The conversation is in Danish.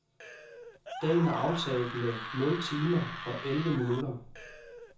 Dagen er aftaget med nul timer og elleve minutter.